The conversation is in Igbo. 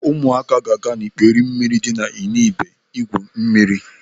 Ụmụaka ga-aga ikpere mmiri dị na Ndibe igwu mmiri.